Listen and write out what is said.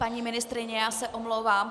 Paní ministryně, já se omlouvám.